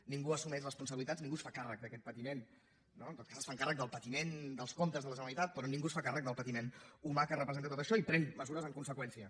ningú assumeix responsabilitats ningú es fa càrrec d’aquest patiment no en tot cas es fan càrrec del patiment dels comptes de la generalitat però ningú es fa càrrec del patiment humà que representa tot això i pren mesures en conseqüència